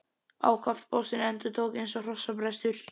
Ákaft bossinn undir tók, eins og hrossabrestur!